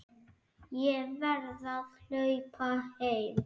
Ég verð að hlaupa heim.